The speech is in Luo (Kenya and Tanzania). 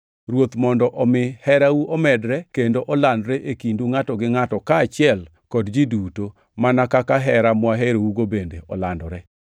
Ruoth mondo omi herau omedre kendo olandre e kindu ngʼato gi ngʼato, kaachiel kod ji duto, mana kaka hera mwaherougo bende olandore.